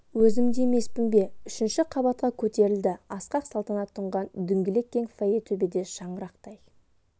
өзім де емеспін бе үшінші қабатқа көтерілді асқақ салтанат тұнған дөңгелек кең фойе төбеде шаңырақтай